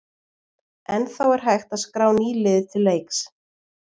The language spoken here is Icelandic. Ennþá er hægt að skrá ný lið til leiks!